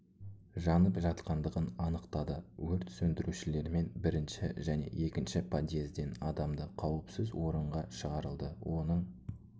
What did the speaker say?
жанып жатқандығын анықтады өрт сөндірушілермен бірінші және екінші подъезден адамды қауіпсіз орынға шығарылды оның